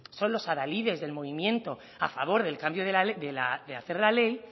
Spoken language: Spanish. son la adalides del movimiento a favor del cambio de hacer la ley